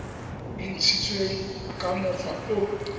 e ntshitsweng ka mokgwa o